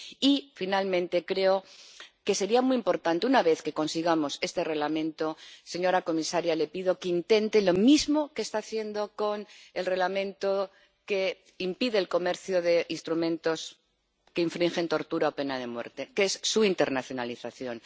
Y, finalmente, una vez que consigamos este Reglamento, señora comisaria, le pido que intente lo mismo que está haciendo con el Reglamento que impide el comercio de instrumentos que infringen tortura o pena de muerte, que es su internacionalización.